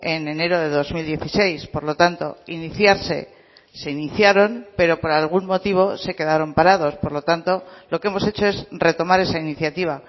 en enero de dos mil dieciséis por lo tanto iniciarse se iniciaron pero por algún motivo se quedaron parados por lo tanto lo que hemos hecho es retomar esa iniciativa